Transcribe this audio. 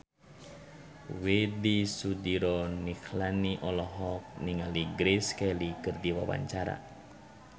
Widy Soediro Nichlany olohok ningali Grace Kelly keur diwawancara